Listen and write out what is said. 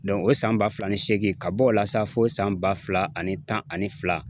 o san ba fila ni seegin ka bɔ o la sa fo san ba fila ani tan ani fila